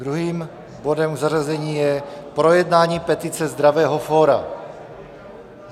Druhým bodem k zařazení je projednání petice Zdravého fóra.